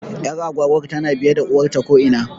Ƴar agwagwar tana biye da uwarta ko ina